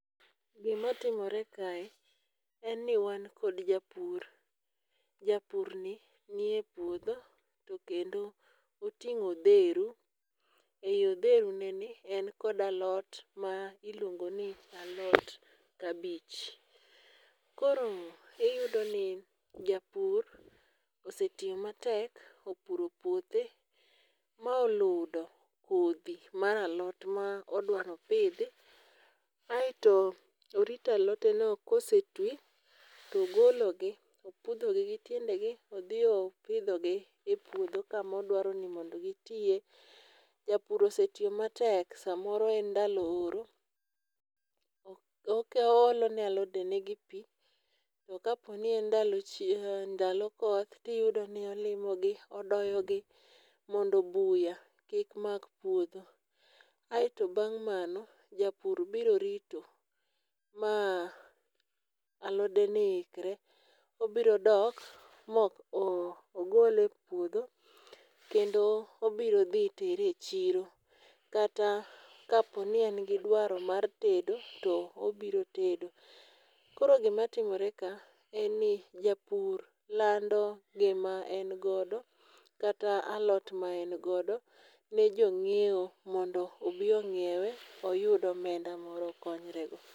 Gima timore kae en ni wan kod japur. Japur ni ni e puodho to kendo oting'o odheru. E yi odheru ne ni en kod alot ma iluongo ni alot kabich. Koro iyudo ni japur osetiyo matek opuro puothe ma oludo kodhi mar alot ma odwa nopidhi. Aeto orito alote no kose twi togologi opudho gi gi tiende gi odhi opidho gi e puodho kamodwaro ni mondo gitie. Japur osetiyo matek. Samoro en ndalo horo. O olo ne alode ne gi pi, To ka po ni en ndalo koth tiyudo ni olimo gi odoyo gi mondo buya kik mak puodho. Aeto bang' mano, japur biro rito ma alode no ikre. Obiro dok mogole e puodho kendo obiro dhi tere e chiro kata kaponi en gi dwaro mar tedo to obiro tedo. Koro gimatimore ka en ni japur lando gima en godo kata alot ma en godo ne jo ng'iewo mondo obi ong'iewe oyud omenda moro okonyre go.